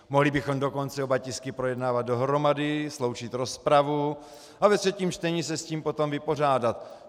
Mohli bychom dokonce oba tisky projednávat dohromady, sloučit rozpravu a ve třetím čtení se s tím potom vypořádat.